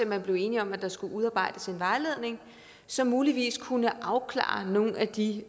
man enig om at der skulle udarbejdes en vejledning som muligvis kunne afklare nogle af de